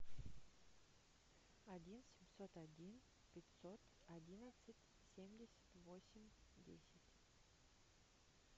один семьсот один пятьсот одинадцать семьдесят восемь десять